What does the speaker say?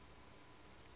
manaanepalo